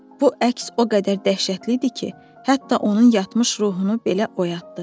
Bu əks o qədər dəhşətli idi ki, hətta onun yatmış ruhunu belə oyatdı.